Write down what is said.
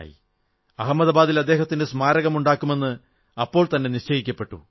അഹമദാബാദിൽ അദ്ദേഹത്തിന് സ്മാരകമുണ്ടാക്കുമെന്ന് അപ്പോൾതന്നെ നിശ്ചയിക്കപ്പെട്ടു